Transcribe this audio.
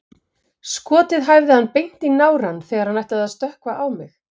Skotið hæfði hann beint í nárann þegar hann ætlaði að stökkva á mig.